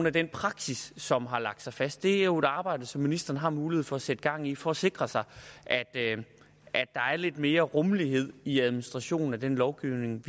af den praksis som har lagt sig fast det er jo et arbejde som ministeren har mulighed for at sætte gang i for at sikre sig at der er lidt mere rummelighed i administrationen af den lovgivning